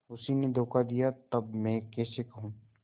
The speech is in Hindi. उसी ने धोखा दिया तब मैं कैसे कहूँ